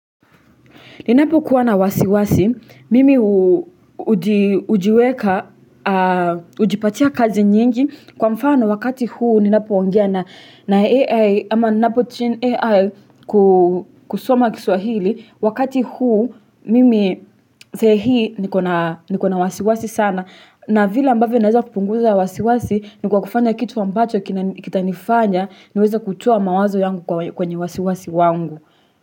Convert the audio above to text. Ninapokuwa na wasiwasi, mimi ujiweka, ujipatia kazi nyingi, kwa mfano wakati huu ninapoongea na AI, ama ninapotrain AI kusoma kiswahili, wakati huu mimi sai nikona wasiwasi sana. Na vila ambavyo naweza kupunguza wasiwasi ni kwa kufanya kitu ambacho kitanifanya niweza kutua mawazo yangu kwenye wasiwasi wangu.